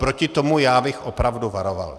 Před tím já bych opravdu varoval.